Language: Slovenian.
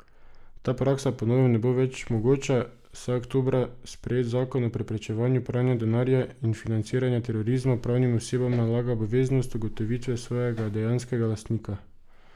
Ta praksa po novem ne bo več mogoča, saj oktobra sprejet zakon o preprečevanju pranja denarja in financiranja terorizma pravnim osebam nalaga obveznost ugotovitve svojega dejanskega lastnika.